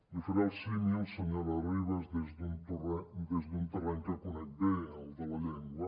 li faré el símil senyora ribas des d’un terreny que conec bé el de la llengua